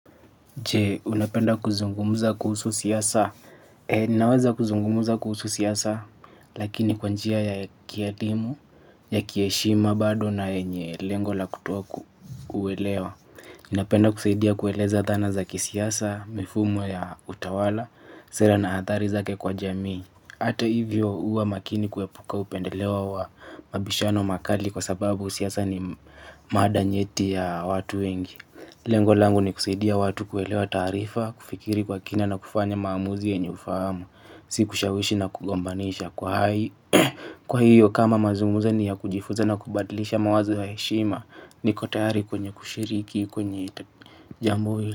Je, unapenda kuzungumuza kuhusu siasa? E, ninaweza kuzungumuza kuhusu siasa, lakini kwanjia ya kiadhimu, ya kieshima bado na yenye lengo la kuto kuelewa. Napenda kusaidia kueleza dhana za kisiasa, mifumo ya utawala, sera na athari zake kwa jamii. Ata hivyo uwa makini kuepuka upendelewa wa mabishano makali kwa sababu siasa ni maada nyeti ya watu wengi. Lengo langu ni kusaidia watu kuelewa tarifa, kufikiri kwa kina na kufanya maamuzi yenye ufahamu. Si kushawishi na kugombanisha kuhai. Kwa hiyo kama mazugumzo ni ya kujifuza na kubadlisha mawazo ya heshima niko tayari kwenye kushiriki kwenye jambo hili.